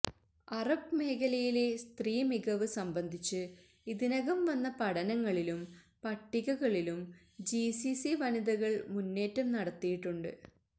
Arab മേഖലയിലെ സ്ത്രീ മികവ് സംബന്ധിച്ച് ഇതിനകം വന്ന പഠനങ്ങളിലും പട്ടികകളിലും ജി സി സി വനിതകള് മുന്നേറ്റം നടത്തിയിട്ടുണ്ട്